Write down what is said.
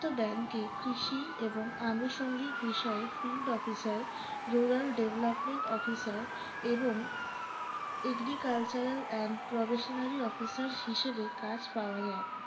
bank এ কৃষি এবং আনুসঙ্গিক বিষয়ে field officer rural development officer এবং agricultural and provisionary officer হিসেবে কাজ পাওয়া যায়